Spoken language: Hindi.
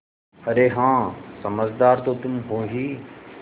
अरे हाँ समझदार तो तुम हो ही